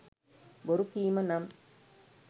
බොරු කීම නම්